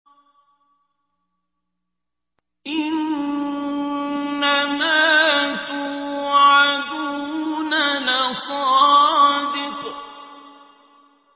إِنَّمَا تُوعَدُونَ لَصَادِقٌ